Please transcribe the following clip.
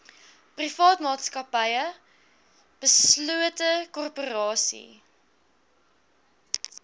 privaatmaatsappy beslote korporasie